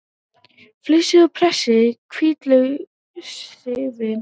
Flysjið og pressið hvítlauksrifin.